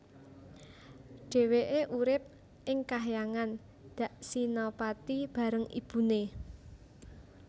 Dhèwèké urip ing Kahyangan Daksinapati bareng ibuné